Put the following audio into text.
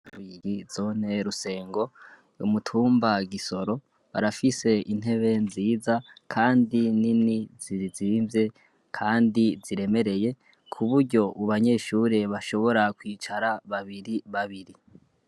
Bigi zontee rusengo umutumbagisoro barafise intebe nziza, kandi nini zirzimvye, kandi ziremereye ku buryo u banyeshuri bashobora kwicara babiri babiri.